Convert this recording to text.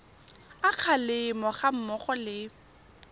a kgalemo ga mmogo le